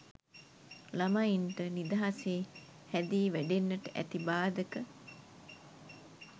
ළමයින්ට නිදහසේ හැදී වැඩෙන්නට ඇති බාධක